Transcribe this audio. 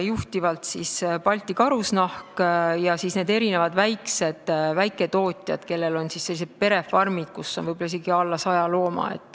Juhtiv ettevõte on Balti Karusnahk ja siis on väiketootjad, kellel on perefarmid, kus on võib-olla isegi alla 100 looma.